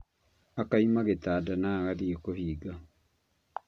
Akauma gĩtanda na agathiĩ kũũhinga